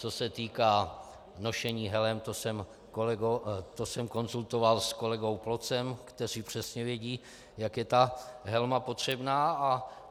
Co se týká nošení helem, to jsem konzultoval s kolegou Plocem, kteří přesně vědí, jak je ta helma potřebná.